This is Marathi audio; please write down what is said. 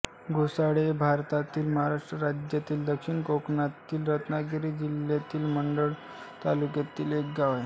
घोसाळे हे भारतातील महाराष्ट्र राज्यातील दक्षिण कोकणातील रत्नागिरी जिल्ह्यातील मंडणगड तालुक्यातील एक गाव आहे